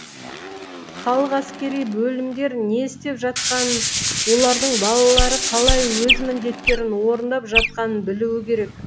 халық әскери бөлімдер не істеп жатқанын олардың балалары қалай өз міндеттерін орындап жатқанын білуі керек